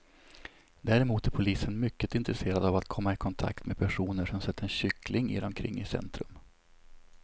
Däremot är polisen mycket intresserad av att komma i kontakt med personer som sett en kyckling irra omkring i centrum.